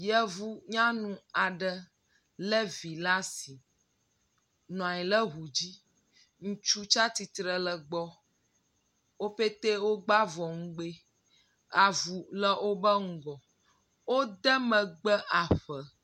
Yevunyanu aɖe lé vi le asi nɔ anyi le ŋu dzi. Ŋutsu tsatsitre le gbɔ, woƒete wogba vɔ ŋugbee, avu le wobe ŋgɔ, wode megbe aƒe.